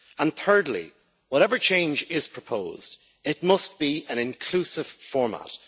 And thirdly, whatever change is proposed, it must be an inclusive format.